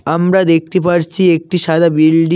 আমরা দেখতে পারছি একটি সাদা বিল্ডিং ।